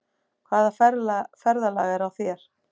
Hvaða ferðalag er á þér?